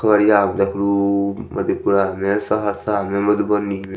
खगड़िया मे देखलू मधेपुरा मे सहरसा मे मधुबनी मे--